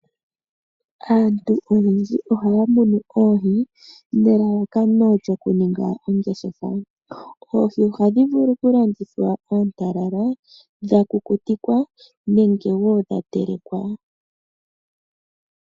Aantu oyendji ohaya munu oohi nelalakano lyokuninga ongeshefa. Oohi ohadhi vulu okulandithwa oontalala, dhakukutikwa nenge woo dha telekwa.